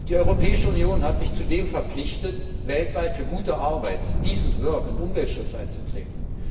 Die Europäische Union hat sich zudem verpflichtet, weltweit für gute Arbeit decent work und Umweltschutz einzutreten.